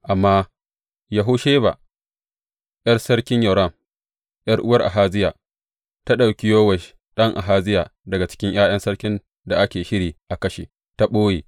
Amma Yehosheba, ’yar Sarki Yoram, ’yar’uwar Ahaziya, ta ɗauki Yowash ɗan Ahaziya daga cikin ’ya’yan sarkin da ake shiri a kashe, ta ɓoye.